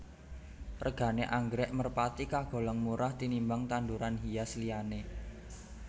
Regané anggrèk merpati kagolong murah tinimbang tanduran hias liyané